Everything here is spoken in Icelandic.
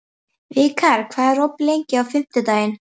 Vikar, hvað er opið lengi á fimmtudaginn?